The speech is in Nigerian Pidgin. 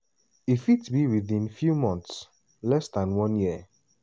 e fit be within few months less dan one year.